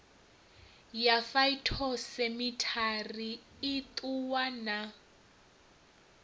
ya phytosamitary i ṱuwa na